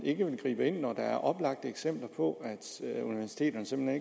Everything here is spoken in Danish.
ikke vil gribe ind når der er oplagte eksempler på at universiteterne simpelt